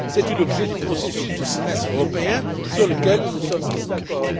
C'est tout l'objet du processus du Semestre européen sur lequel nous nous sommes mis d'accord.